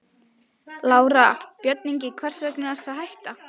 Lára: Björn Ingi, hvers vegna ertu að hætta?